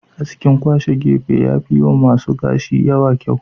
Askin kwashe gefe yafi yiwa masu gashi da yawa kyau.